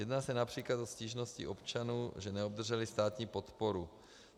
Jedná se například o stížnosti občanů, že neobdrželi státní podporu.